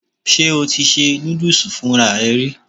Ṣé o ti ṣe núdùsì fúnra rẹ rí?